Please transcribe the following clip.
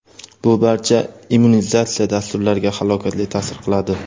bu barcha immunizatsiya dasturlariga halokatli ta’sir qiladi.